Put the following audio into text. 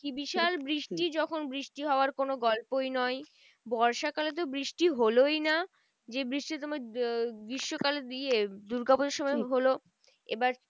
কি বিশাল বৃষ্টি যখন বৃষ্টি হওয়ার কোনো গল্পই নয়। বর্ষা কালে তো বৃষ্টি হলোই না। যে বৃষ্টি তোমার গ্রীষ্মকালে দিয়ে দূর্গা পুজোর সময় হলো। এবার